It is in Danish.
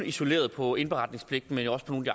isoleret på indberetningspligten men også på nogle af